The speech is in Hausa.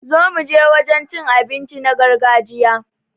Zo muje wajen cin abinci na gargajiya